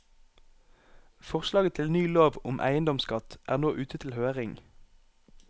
Forslaget til ny lov om eiendomsskatt er nå ute til høring.